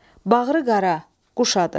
Bağrı qara, quş adı.